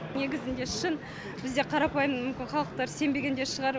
негізінде шын бізде қарапайым мүмкін халықтар сенбеген де шығар